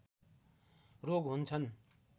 रोग हुन्छन्